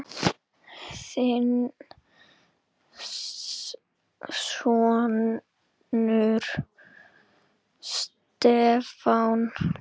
Þinn sonur, Stefán.